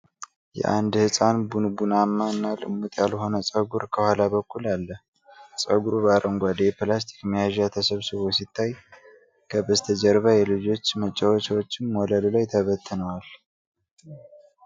የአንድ ህጻን ቡንቡናማ እና ልሙጥ ያልሆነ ጸጉር ከኋላ በኩል አለ። ጸጉሩ በአረንጓዴ የፕላስቲክ መያዣ ተሰብስቦ ሲታይ፣ ከበስተጀርባ የልጆች መጫወቻዎች ወለሉ ላይ ተበትነዋል።